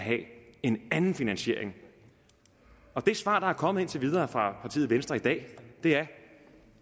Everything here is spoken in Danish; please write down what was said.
en anden finansiering det svar der er kommet indtil videre fra partiet venstre i dag er